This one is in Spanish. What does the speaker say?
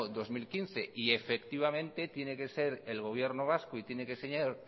dos mil quince y efectivamente tiene que ser el gobierno vasco y